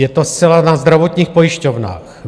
Je to zcela na zdravotních pojišťovnách.